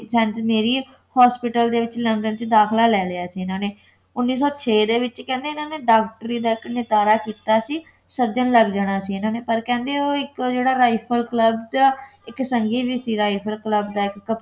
Saint Mary hospital London ਦੇ ਵਿੱਚ ਦਾਖਲਾ ਲੈ ਲਿਆ ਸੀ ਇਨ੍ਹਾਂ ਨੇ ਉੱਨੀ ਸੌ ਛੇ ਦੇ ਵਿੱਚ ਕਹਿੰਦੇ ਇੰਨਾ ਨੇ ਡਾਕਟਰੀ ਦਾ ਇੱਕ ਨਿਤਾਰਾ ਕੀਤਾ ਸੀ surgeon ਲੱਗ ਜਾਣਾ ਸੀ ਇਨ੍ਹਾਂ ਨੇ ਪਰ ਕਹਿੰਦੇ ਉਹ ਇਕ ਜਿਹੜਾ rifle club ਜਿਹਾ ਇੱਕ ਸੰਘੀ ਵੀ ਸੀ rifle club ਦਾ